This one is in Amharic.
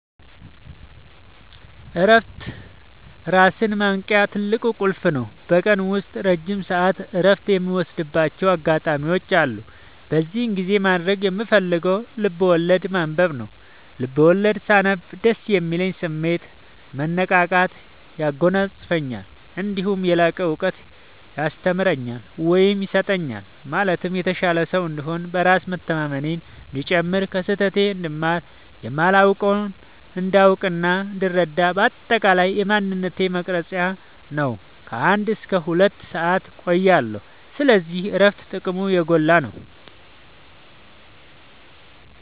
እረፍት ራስን ማወቂያ ትልቁ ቁልፍ ነው። በቀን ውስጥ ረጅም ሰዓት እረፍት የምወስድባቸው አጋጣዎች አሉ። በዚህ ጊዜ ማድረግ የምፈልገው ልብዐወለድ ማንበብ ነው፤ ልቦለድ ሳነብ ደስ የሚል ስሜት፣ መነቃቃት ያጎናፅፈኛል። እነዲሁም የላቀ እውቀት ያስተምረኛል ወይም ይሰጠኛል ማለትም የተሻለ ሰው እንድሆን፣ በራስ መተማመኔ እንዲጨምር፣ ከስህተቴ እንድማር፣ የማላውቀውን እንዳውቅናእንድረዳ በአጠቃላይ የማንነቴ መቅረጽያ ነው። ከ አንድ እስከ ሁለት ሰአት እቆያለሁ። ስለዚህ እረፍት ጥቅሙ የጎላ ነው።